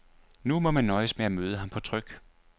Nu må man nøjes med at møde ham på tryk.